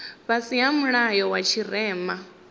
fhasi ha mulayo wa tshirema